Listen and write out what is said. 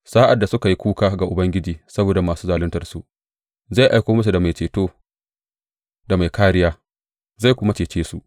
Sa’ad da suka yi kuka ga Ubangiji saboda masu zaluntarsu, zai aiko musu mai ceto da mai kāriya, zai kuma cece su.